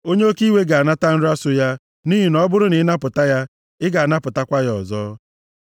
Onye oke iwe ga-anata nra so ya, nʼihi na ọ bụrụ na ị napụta ya, ị ga-anapụtakwa ya ọzọ.